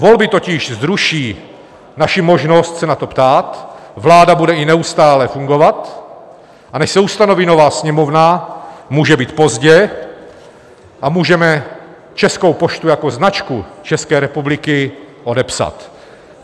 Volby totiž zruší naši možnost se na to ptát, vláda bude i neustále fungovat, a než se ustaví nová Sněmovna, může být pozdě a můžeme Českou poštu jako značku České republiky odepsat.